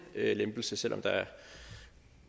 lempelse selv om